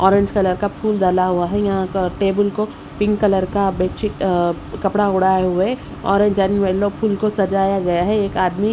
orange colour का फूल डाला हुआ है यहां का टेबुल को पिंक कलर का बेडशीट अह कपड़ा ओढ़ाए हुए और ऑरेंज एंड येलो फूल को सजाया गया है एक आदमी --